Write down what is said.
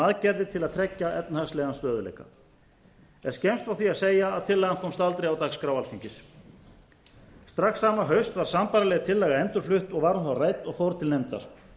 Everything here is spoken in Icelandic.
aðgerðir til að tryggja efnahagslegan stöðugleika er skemmst frá því að segja að tillagan komst aldrei á dagskrá alþingis strax sama haust var sambærileg laga endurflutt og var hún þá rædd og fór til nefndar